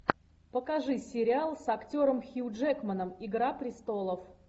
покажи сериал с актером хью джекманом игра престолов